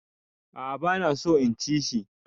A'a bana so in ci shi.